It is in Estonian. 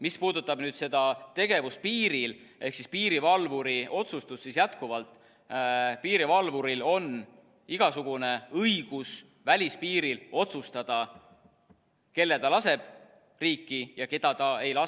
Mis puudutab tegevust piiril ehk piirivalvuri otsustust, siis jätkuvalt piirivalvuril on igasugune õigus välispiiril otsustada, kelle ta laseb riiki ja keda ta ei lase.